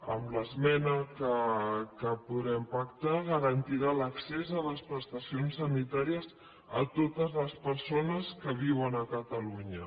amb l’esmena que podrem pactar es garantirà l’accés a les prestacions sanitàries a totes les persones que viuen a catalunya